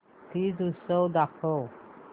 तीज उत्सव दाखव